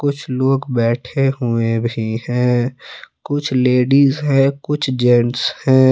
कुछ लोग बैठे हुए भी हैं कुछ लेडिस है कुछ जेंट्स हैं।